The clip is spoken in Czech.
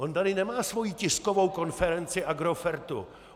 On tady nemá svoji tiskovou konferenci Agrofertu.